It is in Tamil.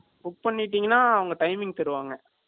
Book பண்ணிட்டீங்கன்னா, அவங்க timing தருவாங்க